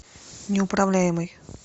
неуправляемый